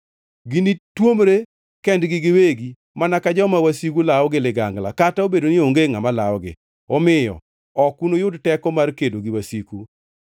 Ginituomre kendgi giwegi mana ka joma wasigu lawo gi ligangla, kata obedo ni onge ngʼama lawogi. Omiyo ok unuyud teko mar kedo gi wasiku.